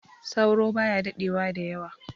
Sauro baya daɗewa da yawa